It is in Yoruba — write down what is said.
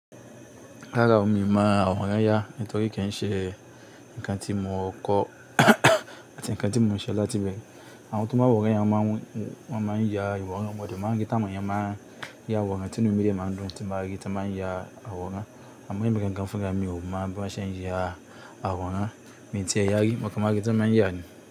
Rára o mi, mo àwòrán ya nítorí kí n ṣe nǹkan tí mo kọ́ àti nǹkan tí mo ń ṣe láti ibẹ̀re. Àwọn tí ó máa wòran ya wọ́n máa ń ya ìwọ̀n wọn, mọ́n dẹ́ máan rí tá àwon eyan máa ń ya àwòrán, tinu mí de máa ń dùn tí mba rí tí wọ́n máa ń ya àwòrán. Àmọ́ èmi gangan fúnra mi ò mọ̀ bí wọ́n ṣe ń ya àwòrán, mi tì e ya rí, mo kọ̀ máa rí tí wọ́n máa ń yá ni.